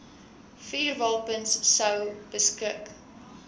vuurwapens sou beskik